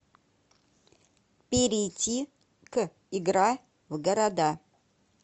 перейти к игра в города